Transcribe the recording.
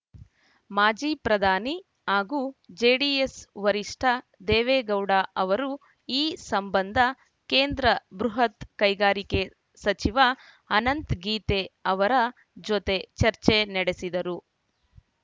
ಮಾಜಿ ಪ್ರಧಾನಿ ಹಾಗೂ ಜೆಡಿಎಸ್‌ ವರಿಷ್ಠ ದೇವೇಗೌಡ ಅವರು ಈ ಸಂಬಂಧ ಕೇಂದ್ರ ಬೃಹತ್‌ ಕೈಗಾರಿಕೆ ಸಚಿವ ಅನಂತ್‌ ಗೀತೆ ಅವರ ಜೊತೆ ಚರ್ಚೆ ನಡೆಸಿದರು